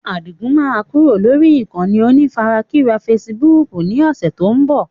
Adigun máa kúrò lórí ìkànnì onífarakínra Facebook ni ọ̀sẹ̀ tó ń bọ̀.